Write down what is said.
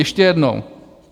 Ještě jednou.